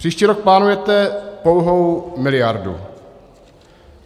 Příští rok plánujete pouhou miliardu.